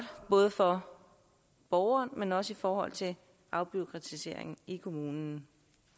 både for borgeren men også i forhold til afbureaukratiseringen i kommunen